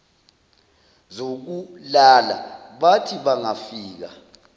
zokulala bathi bangafika